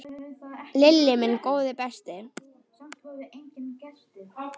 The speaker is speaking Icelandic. Lilli minn, góði besti.